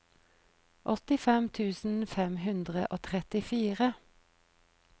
åttifem tusen fem hundre og trettifire